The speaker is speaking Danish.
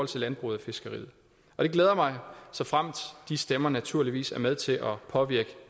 til landbruget og fiskeriet og det glæder mig såfremt de stemmer naturligvis er med til at påvirke